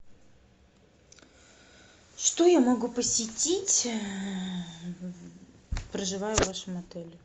что я могу посетить проживая в вашем отеле